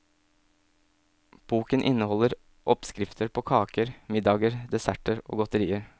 Boken inneholder oppskrifter på kaker, middager, desserter og godterier.